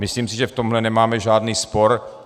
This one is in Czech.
Myslím si, že v tomhle nemáme žádný spor.